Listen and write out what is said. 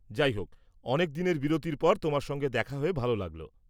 যাইহোক, অনেকদিনের বিরতির পর তোমার সঙ্গে দেখা হয়ে ভালো লাগল।